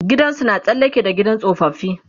gidansu na tsallake da gidan tsofaffi